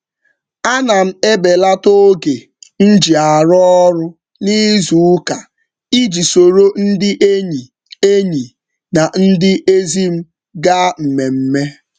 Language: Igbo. Ana m ebelata oge m ji arụ ọrụ n'izuụka iji soro ndị enyi enyi na ndị ezi m gaa mmemme.